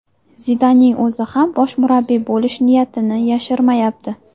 Zidanning o‘zi ham bosh murabbiy bo‘lish niyatini yashirmayapti.